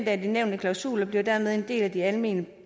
af de nævnte klausuler bliver dermed en del af de almene